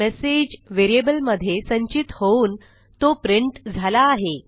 message व्हेरिएबलमध्ये संचित होऊन तो प्रिंट झाला आहे